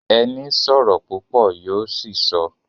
Ẹni sọ̀rọ̀ púpọ̀ yó ṣìsọ